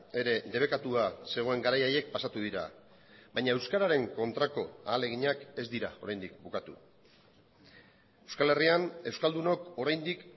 ere debekatua zegoen garai haiek pasatu dira baina euskararen kontrako ahaleginak ez dira oraindik bukatu euskal herrian euskaldunok oraindik